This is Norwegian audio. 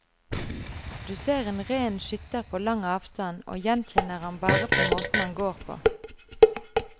Du ser en ren skytter på lang avstand og gjenkjenner ham bare på måten han går på.